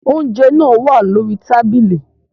Oúnjẹ náà wá lórí tábìlì